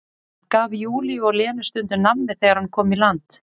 Hann gaf Júlíu og Lenu stundum nammi þegar hann kom í land.